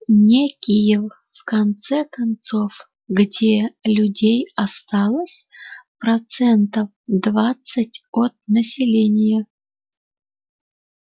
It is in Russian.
не киев в конце концов где людей осталось процентов двадцать от населения